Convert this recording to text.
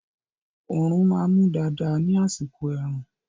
Oòrùn máa mú dáadáa ní àsìkò ẹ̀rùn